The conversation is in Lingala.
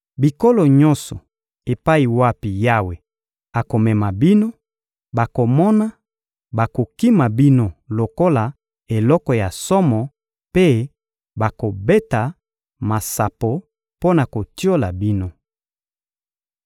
Bikolo nyonso epai wapi Yawe akomema bino, bakomona bakokima bino lokola eloko ya somo mpe bakobeta masapo mpo na kotiola bino.